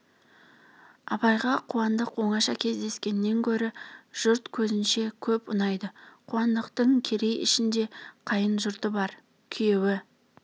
абайға қуандық оңаша кездескеннен көрі жұрт көзінше көп ұнайды қуандықтың керей ішінде қайын жұрты бар күйеуі